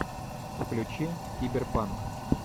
включи киберпанк